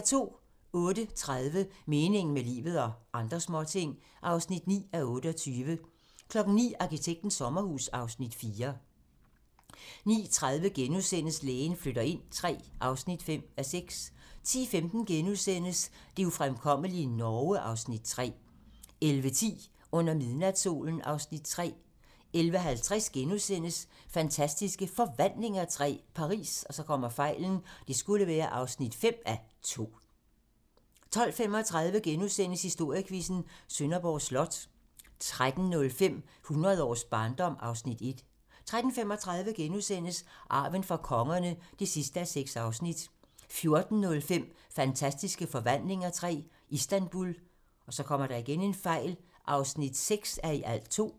08:30: Meningen med livet - og andre småting (9:28) 09:00: Arkitektens sommerhus (Afs. 4) 09:30: Lægen flytter ind III (5:6)* 10:15: Det ufremkommelige Norge (Afs. 3)* 11:10: Under midnatssolen (Afs. 3) 11:50: Fantastiske Forvandlinger III - Paris (5:2)* 12:35: Historiequizzen: Sønderborg Slot * 13:05: Hundrede års barndom (Afs. 1) 13:35: Arven fra kongerne (6:6)* 14:05: Fantastiske Forvandlinger III - Istanbul (6:2)